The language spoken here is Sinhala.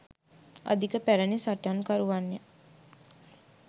අධික පැරණි සටන්කරුවන්ය